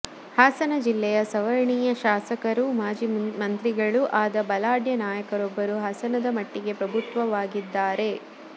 ಹಾಸನ ಜಿಲ್ಲೆಯ ಸವರ್ಣೀಯ ಶಾಸಕರೂ ಮಾಜಿ ಮಂತ್ರಿಗಳೂ ಆದ ಬಲಾಢ್ಯ ನಾಯಕರೊಬ್ಬರು ಹಾಸನದ ಮಟ್ಟಿಗೆ ಪ್ರಭುತ್ವವಾಗಿದ್ದಾರೆ